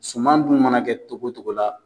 Suman dun mana kɛ togo togo la.